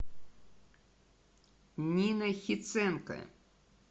нина хиценко